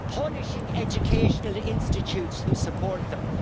punishing educational institutes who support them.